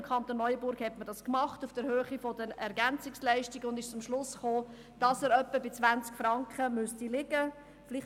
Im Kanton Neuenburg hat man das auf der Höhe der Ergänzungsleistungen (EL) gemacht und ist zum Schluss gekommen, dass er etwa bei 20 Franken liegen müsste.